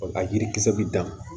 A yirikisɛ bɛ dan